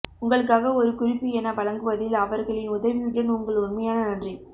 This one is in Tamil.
உங்களுக்காக ஒரு குறிப்பு என வழங்குவதில் அவர்களின் உதவியுடன் உங்கள் உண்மையான நன்றி